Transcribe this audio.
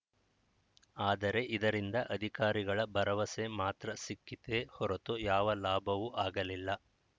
ಆದರೆ ಇದರಿಂದ ಅಧಿಕಾರಿಗಳ ಭರವಸೆ ಮಾತ್ರ ಸಿಕ್ಕಿತೇ ಹೊರತು ಯಾವ ಲಾಭವೂ ಆಗಲಿಲ್ಲ